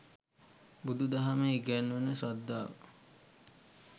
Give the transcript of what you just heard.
බුදු දහමේ ඉගැන්වෙන ශ්‍රද්ධාව